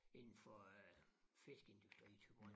Inden for øh fiskeindustrien i Thyborøn